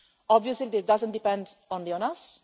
that. Obviously, this doesn't only depend